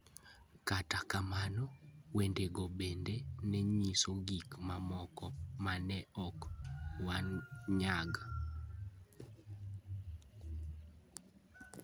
Kata kamano, wendego bende ne nyiso gik mamoko ma ne ok wanyag.